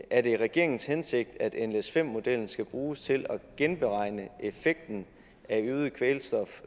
er det regeringens hensigt at nles5 modellen skal bruges til at genberegne effekten af